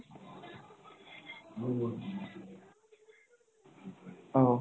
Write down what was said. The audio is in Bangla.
আহ।